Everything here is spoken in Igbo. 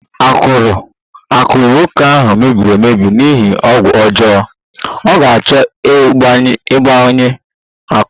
Akụrụ nwoke ahụ mebiri emebi n'ihi ọgwụ ọjọọ, ọ ga-achọ ịgbanye akụrụ